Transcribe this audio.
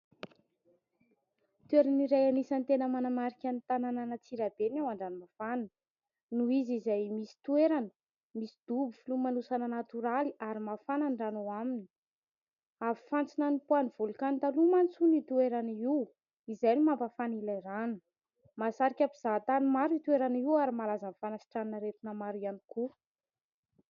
Toerana iray anisany tena manamarika ny tanànan'Antsirabe ny ao an-dranomafana noho izy izay misy toerana misy dobo filomanosana natioraly ary mafana ny rano ao aminy avy fantsina nipoahan'ny volokano taloha mantsy io toerana io, izay no mampafana ilay rano. Mahasarika mpizaha tany maro io toerana io ary malaza amin'ny fanasitranana aretina maro ihany koa.